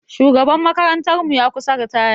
Shugaban makarantar mu ya kusa ritaya.